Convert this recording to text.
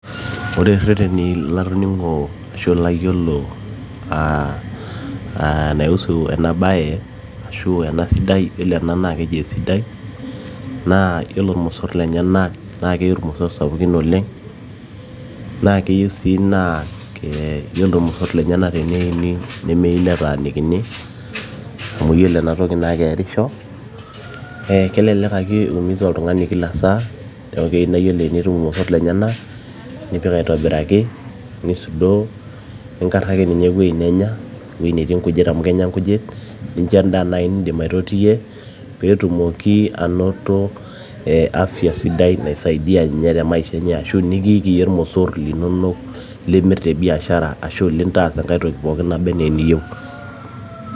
ore irreteni latoning'o ashu ilayiolo aa naiusu ena baye ashu ena sidai, yiolo ena naa keji esidai na yiolo ilmosorr lenyenak naa keiu ilmosorr sapukin oleng naa keyieu sii naa yiolo lenyenak teneini nemei netaanikini amu yiolo ena toki naa keerisho ee kelelek ake iumiza oltung'ani kila saa neeku keyieu naa yiolo enitum ilmosorr lenyenak nipik aitobiraki nisudoo ninkarraki ninye ewueji nenya, ewueji netii inkujit amu kenya nkujit nincho endaa naaji nindim aitotiyie peetumoki anoto ee afya sidai naisaidia ninye te maisha enye ashu nikiiki yie ilmosorr linonok limirr te biashara ashu ilintaas enkay toki naba enaa eniyieu.